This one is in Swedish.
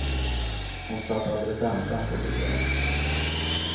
Hon satt alldeles ensam på sitt rum.